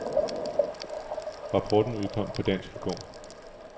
Rapporten udkom på dansk i går.